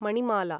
Manimala